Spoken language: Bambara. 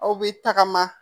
Aw bɛ tagama